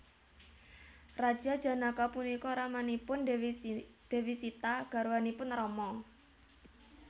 Raja Janaka punika ramanipun Dewi Sita garwanipun Rama